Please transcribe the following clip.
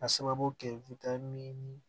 A sababu kɛ ni